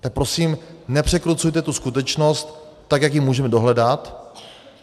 Tak prosím, nepřekrucujte tu skutečnost, tak jak ji můžeme dohledat.